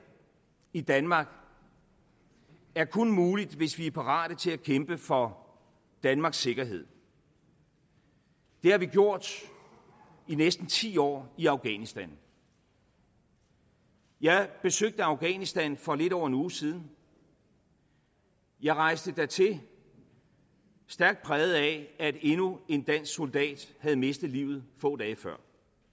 i danmark er kun muligt hvis vi er parate til at kæmpe for danmarks sikkerhed det har vi gjort i næsten ti år i afghanistan jeg besøgte afghanistan for lidt over en uge siden jeg rejste dertil stærkt præget af at endnu en dansk soldat havde mistet livet få dage før